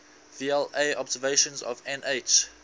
vla observations of nh